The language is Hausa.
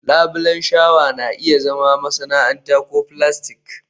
labulen shawa na iya zama masana'anta ko filastik